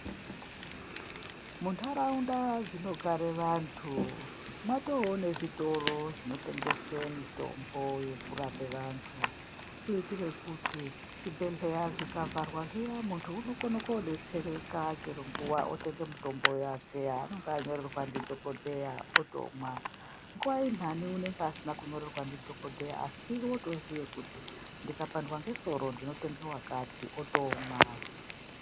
Muntaraunda dzinogare vantu mwatoonezvitoro zvinotengese mitombo yekurape vantu. Kuitire kuti zvibhehleya zvikavharwa zviya muntu unokone kudetsereka chero nguva, otenge mitombo yake yaanonga anyorerwa ndidhokodheya otomwa. Nguva inhani unenge asina kunyorerwa ndidhokodheya asi otoziye kuti ndikapandwa nesoro ndinotenge wakati, otomwa.